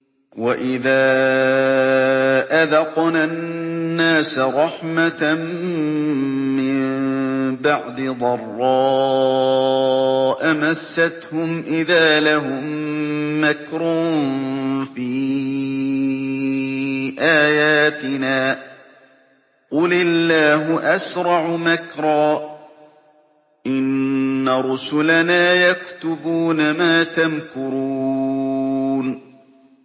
وَإِذَا أَذَقْنَا النَّاسَ رَحْمَةً مِّن بَعْدِ ضَرَّاءَ مَسَّتْهُمْ إِذَا لَهُم مَّكْرٌ فِي آيَاتِنَا ۚ قُلِ اللَّهُ أَسْرَعُ مَكْرًا ۚ إِنَّ رُسُلَنَا يَكْتُبُونَ مَا تَمْكُرُونَ